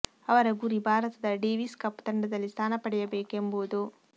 ಅವರ ಗುರಿ ಭಾರತದ ಡೇವಿಸ್ ಕಪ್ ತಂಡದಲ್ಲಿ ಸ್ಥಾನ ಪಡೆಯಬೇಕು ಎಂಬುದು